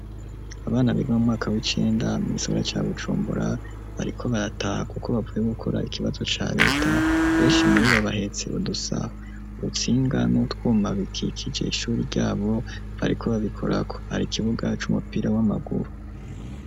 Abana biga mu mwaka w'icenda mu gisagara ca Bujumbura, bariko barataha kuko bavuye gukora ikibazo ca leta; benshi muri bo bahetse udusaho; urutsinga n'utwuma, bikikije ishuri ryabo, bariko babikorako; hari ikibuga c'umupira w'amaguru.